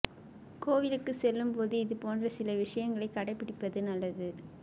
கோவிலுக்கு செல்லும் போது இது போன்ற சில விஷயங்களை கடை பிடிப்பது நல்லது